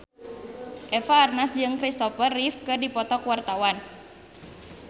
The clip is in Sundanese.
Eva Arnaz jeung Christopher Reeve keur dipoto ku wartawan